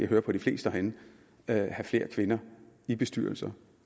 hører på de fleste herinde have flere kvinder i bestyrelser